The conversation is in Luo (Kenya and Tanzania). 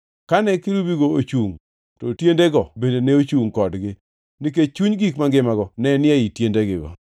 Kane kerubigo ochungʼ to tiendego bende ne chungʼ kodgi, nikech chuny gik mangimago ne ni ei tiendego.